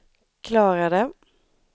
klarade